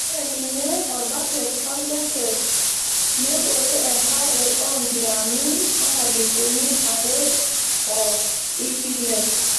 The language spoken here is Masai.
Ore ninye orbaket orjaket nebore enkare oo ngiraami oonkalifuni are oo ipile.